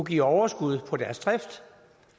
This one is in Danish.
give overskud på deres drift